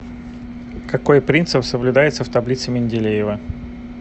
какой принцип соблюдается в таблице менделеева